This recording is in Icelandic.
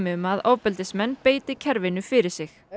um að ofbeldismenn beiti kerfinu fyrir sig